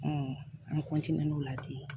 an n'o ladi